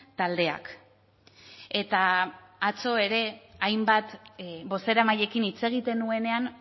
taldeak eta atzo ere hainbat bozeramaileekin hitz egiten nuenean